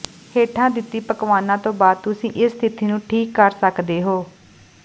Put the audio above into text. ਹੇਠਾਂ ਦਿੱਤੀ ਪਕਵਾਨਾਂ ਤੋਂ ਬਾਅਦ ਤੁਸੀਂ ਇਸ ਸਥਿਤੀ ਨੂੰ ਠੀਕ ਕਰ ਸਕਦੇ ਹੋ